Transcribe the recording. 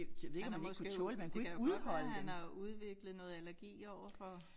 Han har måske det kan godt være han har udviklet noget allergi overfor